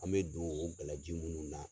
An bɛ don o gala ji munnu na.